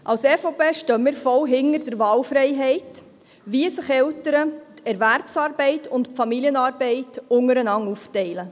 Als EVP stehen wir voll hinter der Wahlfreiheit, wie sich Eltern die Erwerbsarbeit und die Familienarbeit unter einander aufteilen.